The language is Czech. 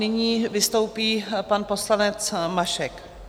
Nyní vystoupí pan poslanec Mašek.